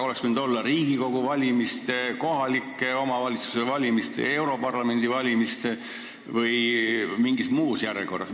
Oleks võinud olla Riigikogu valimise, kohaliku omavalitsuse volikogu valimise ja Euroopa Parlamendi valimise seadus või mingis muus järjekorras.